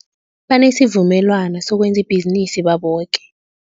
Banesivumelwana sokwenza ibhizinisi baboke.